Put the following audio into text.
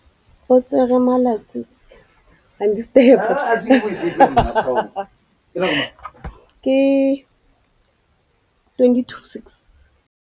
O tsere malatsi a le marraro go rwala morwalo otlhe wa gagwe ka llori.